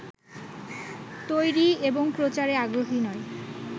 তৈরী এবং প্রচারে আগ্রহী নয়